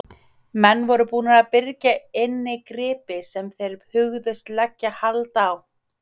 Menn voru búnir að byrgja inni gripi sem þeir hugðust leggja hald á.